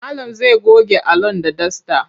Malam zai goge Alan da dasta.